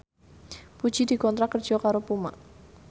Puji dikontrak kerja karo Puma